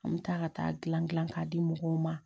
An bɛ taa ka taa gilan gilan k'a di mɔgɔw ma